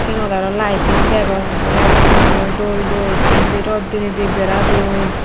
sigunot arw laiting degong ekkore laiting aniyo dol dol tey indi rot diney di bera don.